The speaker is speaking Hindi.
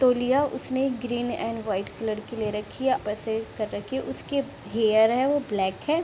तोलिया उसने ग्रीन एंड व्हाइट कलर की ले रखी है ऊपर सर कर रखी है उसके हेयर है वो ब्लैक है।